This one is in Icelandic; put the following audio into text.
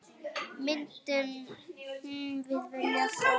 Myndum við vilja það?